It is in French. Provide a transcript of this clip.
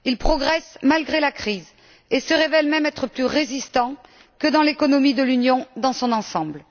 Ils progressent malgré la crise et se révèlent même être plus résistants que l'économie de l'Union dans son ensemble.